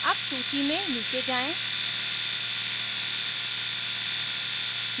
अब सूची में नीचे जायें